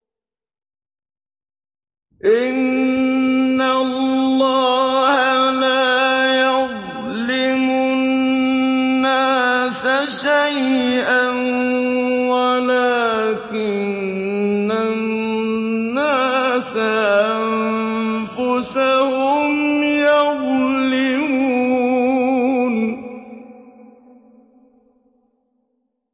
إِنَّ اللَّهَ لَا يَظْلِمُ النَّاسَ شَيْئًا وَلَٰكِنَّ النَّاسَ أَنفُسَهُمْ يَظْلِمُونَ